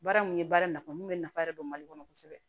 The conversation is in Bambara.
Baara mun ye baara nafa mun be nafa yɛrɛ don mali kɔnɔ kosɛbɛ